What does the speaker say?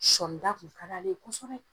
Sɔɔnda tun kad'ale ye kɔsɔbɛ.